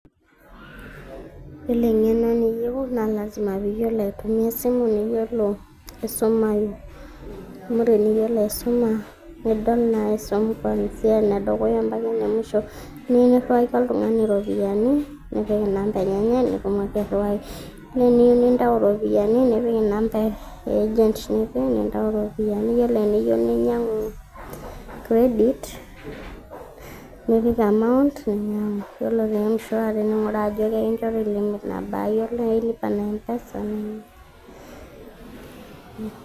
Yiolo eng'eno niyieu, na lasima piyiolou aitumia esimu, yiolo aisuma amu teniyiolo aisuma, nidol naa aisum kwansia enedukuya mpaka enemusho. Teniu nirriwaki oltung'ani ropiyaiani, nipik enamba enyenyek, nitumoki airriwaki. Neniu nintau ropiyaiani, nipik inamba e agent nipik, nintau ropiyaiani. Yiolo eniyieu ninyang'u credit ,nipik amount, ninyang'u. Yiolo te M-shwari ning'uraa ajo ekinchori limit nabaa. Yiolo lipa na mpesa,